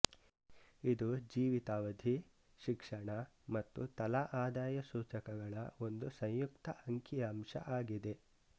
ಇದು ಜೀವಿತಾವಧಿ ಶಿಕ್ಷಣ ಮತ್ತು ತಲಾ ಆದಾಯ ಸೂಚಕಗಳ ಒಂದು ಸಂಯುಕ್ತ ಅಂಕಿ ಅಂಶ ಆಗಿದೆ